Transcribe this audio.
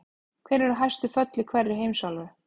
Hver eru hæstu fjöll í hverri heimsálfu?